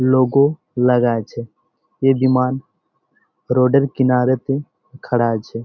Logo লাগা আছে। এ বিমান রোড এর কিনারা তে খাড়াই আছে।